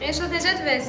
Elşad, necədir vəziyyət?